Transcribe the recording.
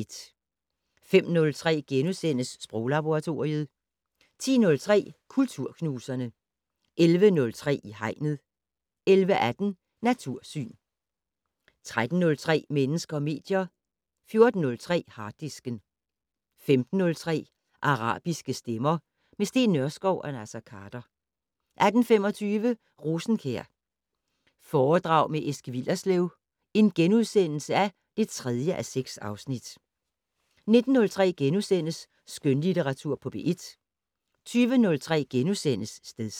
05:03: Sproglaboratoriet * 10:03: Kulturknuserne 11:03: I Hegnet 11:18: Natursyn 13:03: Mennesker og medier 14:03: Harddisken 15:03: Arabiske stemmer - med Steen Nørskov og Naser Khader 18:25: Rosenkjær foredrag Eske Willerslev (3:6)* 19:03: Skønlitteratur på P1 * 20:03: Stedsans *